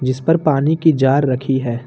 जिस पर पानी की जार रखी है।